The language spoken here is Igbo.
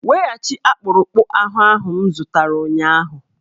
Weghachite akpụrụakpụ ahụ m zụtara ụnyahụ!